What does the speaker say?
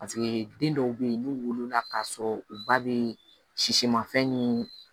den dɔw be yen n'u wolola k'a sɔrɔ u ba be sisimafɛn nii